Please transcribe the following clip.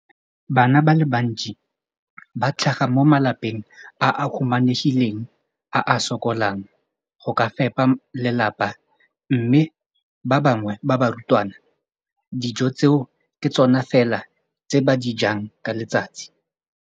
Bana ba le bantsi ba tlhaga mo malapeng a a humanegileng a a sokolang go ka fepa ba lelapa mme ba bangwe ba barutwana, dijo tseo ke tsona fela tse ba di jang ka letsatsi.